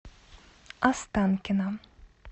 останкино